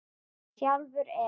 Sjálfur er